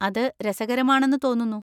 അത് രസകരമാണെന്ന് തോന്നുന്നു.